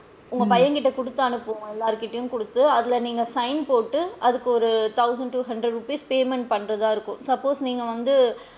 உங்க பையன் கிட்ட குடுத்து அனுப்புவோம் எல்லார்கிட்டயும் அதுல நீங்க sign போட்டு அதுக்கு வந்து ஒரு thousand two hundred rupees payment பண்றதா இருக்கும் suppose நீங்க வந்து,